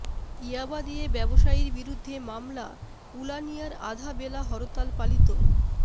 ইয়াবা দিয়ে ব্যবসায়ীর বিরুদ্ধে মামলা উলানিয়ায় আধা বেলা হরতাল পালিত